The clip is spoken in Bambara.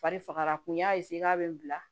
Fari fagara kun y'a k'a bɛ n bila